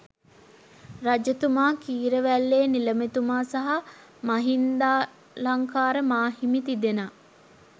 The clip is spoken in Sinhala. රජතුමා, කීරවැල්ලේ නිළමේතුමා සහ මහින්දාලංකාර මා හිමි, තිදෙනා